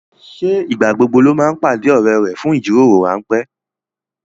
Ṣé ìgbà gbogbo ló máa ń pàdé ọrẹ rẹ fún ìjíròrò ránpẹ́